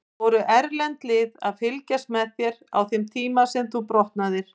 Voru erlend lið að fylgjast með þér á þeim tíma sem þú brotnaðir?